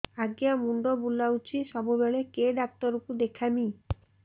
ଆଜ୍ଞା ମୁଣ୍ଡ ବୁଲାଉଛି ସବୁବେଳେ କେ ଡାକ୍ତର କୁ ଦେଖାମି